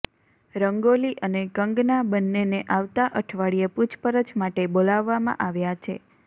રંગોલી અને કંગના બંનેને આવતા અઠવાડિયે પૂછપરછ માટે બોલાવવામાં આવ્યા છે